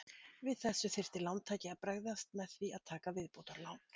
Við þessu þyrfti lántaki að bregðast með því að taka viðbótarlán.